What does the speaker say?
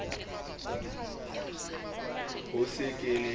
he ke se ke le